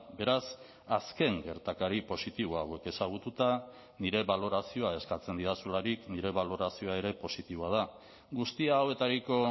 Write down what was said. beraz azken gertakari positibo hauek ezagututa nire balorazioa eskatzen didazularik nire balorazioa ere positiboa da guzti hauetariko